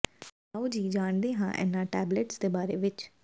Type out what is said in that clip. ਆਓ ਜੀ ਜਾਣਦੇ ਹਾਂ ਇਨ੍ਹਾਂ ਟੈਬਲੇਟਸ ਦੇ ਬਾਰੇ ਵਿੱਚ